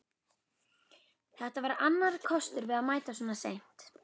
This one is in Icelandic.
Þetta var annar kostur við að mæta svona seint.